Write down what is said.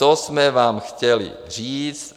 To jsme vám chtěli říct.